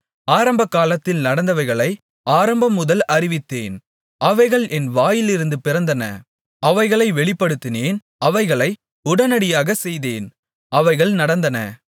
ஆரம்பகாலத்தில் நடந்தவைகளை ஆரம்பம்முதல் அறிவித்தேன் அவைகள் என் வாயிலிருந்து பிறந்தன அவைகளை வெளிப்படுத்தினேன் அவைகளை உடனடியாகச் செய்தேன் அவைகள் நடந்தன